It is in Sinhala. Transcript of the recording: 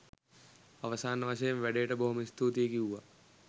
අවසාන වශයෙන් වැඩේට බොහොම ස්තුතියි කිව්වා.